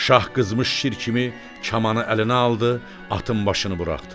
Şah qızmış şir kimi kamanı əlinə aldı, atın başını buraxdı.